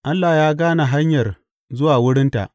Allah ya gane hanyar zuwa wurinta.